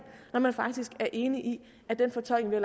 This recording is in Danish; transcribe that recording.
når man faktisk er enig i at den fortolkning